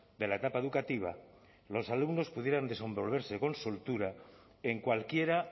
de la etapa educativa los alumnos pudieran desenvolverse con soltura en cualquiera